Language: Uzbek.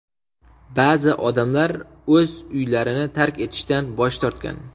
Ba’zi odamlar o‘z uylarini tark etishdan bosh tortgan.